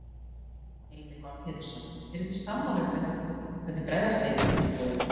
Heimir Már Pétursson: Eruð þið sammála um hvernig bregðast eigi við tilboðinu?